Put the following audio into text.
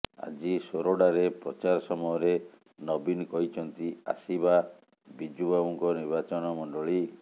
ଆଜି ସୋରଡାରେ ପ୍ରଚାର ସମୟରେ ନବୀନ କହିଛନ୍ତି ଆସିବା ବିଜୁ ବାବୁଙ୍କ ନିର୍ବାଚନମଣ୍ଡଳୀ